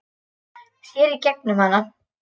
Sér í gegnum hana.